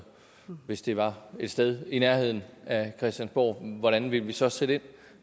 hvis det var et sted i nærheden af christiansborg hvordan ville vi så sætte ind